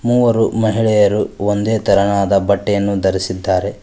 ಮೂವರು ಮಹಿಳೆಯರು ಒಂದೇ ತರನಾದ ಬಟ್ಟೆಯನ್ನು ಧರಿಸಿದ್ದಾರೆ.